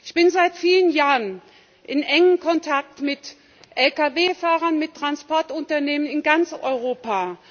Ich bin seit vielen Jahren in engem Kontakt mit Lkw Fahrern, mit Transportunternehmen in ganz Europa.